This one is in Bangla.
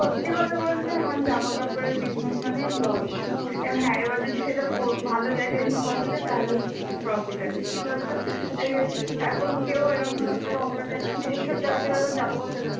সত্যি কথা বলতে এখন জামাকাপড়ের busuiness মানেই loss. এবার হ্যাঁ এবার যদি সেটা ও~ ভালো জায়গায় নিয়ে বসা যায় তাহলে profit আছে. কি বলতো এই যে এখন কেউ এরাম ভাবে অন্য জায়গায় মানে এইসব জায়গা ছাড়া এখন জামা কাপড় কেনা